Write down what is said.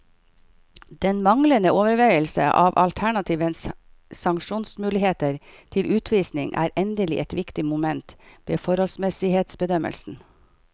Den manglende overveielse av alternative sanksjonsmuligheter til utvisning er endelig et viktig moment ved forholdsmessighetsbedømmelsen.